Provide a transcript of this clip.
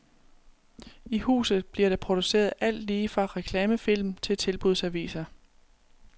I huset bliver der produceret alt lige fra reklamefilm til tilbudsaviser.